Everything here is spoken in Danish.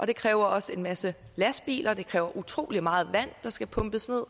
det kræver også en masse lastbiler og det er utrolig meget vand der skal pumpes